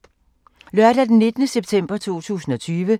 Lørdag d. 19. september 2020